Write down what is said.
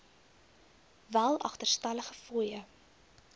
wel agterstallige fooie